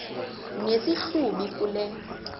nesi hlubi kule